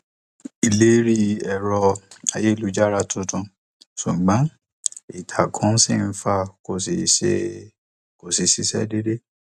alūkró sọ pé nǹkan bíi um aago mẹfà àárọ làwọn rí àwọn um tí wọn jí gbé náà